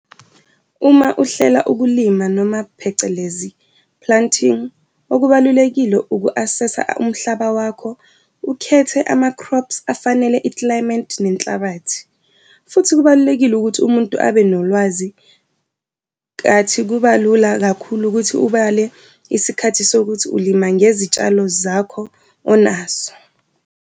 Uma uhlela ukulima noma phecelezi planting, okubalulekile uku-assess-a umhlaba wakho, ukhethe ama-crops afanele i-climate nenhlabathi. Futhi kubalulekile ukuthi umuntu abe nolwazi nkathi kuba lula kakhulu ukuthi ubale isikhathi sokuthi ulima ngezitshalo zakho onazo.